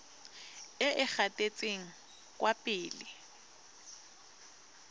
e e gatetseng kwa pele